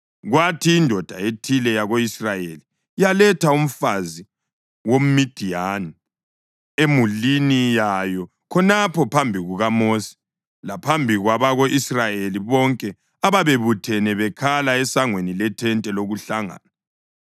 Kwathi indoda ethile yako-Israyeli yaletha umfazi woMidiyani emulini yayo khonapho phambi kukaMosi laphambi kwabako-Israyeli bonke ababebuthene bekhala esangweni lethente lokuhlangana.